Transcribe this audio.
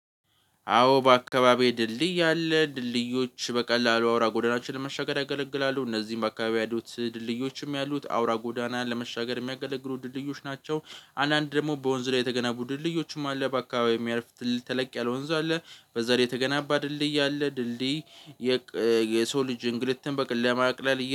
አዎ በአካባቢ ድልድይ አለ ድልድዮች በቀላሉ አውራ ጎዳናችንን ለመሻገር ያገለግላሉ እነዚህም በአካባቢው ያሉት ድልድዮችም ያሉት አውራ ጎዳናን ለመሻገር የሚያገለግሩ ድልድዮች ናቸው። አንዳንድ ደግሞ በወንዝ ላይ የተገነቡ ድልድዮችም አለ በአካባቢ የሚያልፍ ትልቅ ተለቅ ያለ ወንዝ አለ። በዛ ላይ የተገናባ ድልድይ አለ ድልድይ የሰው ልጅ እንግልትን በቅል ለማቅለል